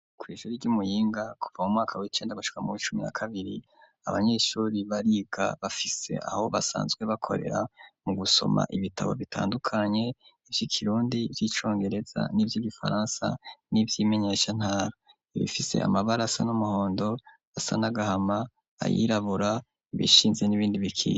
Kw'ishui ry'umuyinga kuva mu mwaka w'icenda gashuka mu b' icumi na kabiri abanyeshuri bariga bafise aho basanzwe bakorera mu gusoma ibitabo bitandukanye ivyo ikirundi vy'icongereza n'ivyo igifaransa n'ivyo imenyeshantara bifise amabarasa n'umuhondo asa nagahama ayirabura bishinze n'ibindi bikiya.